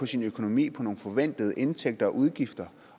sin økonomi på nogle forventede indtægter og udgifter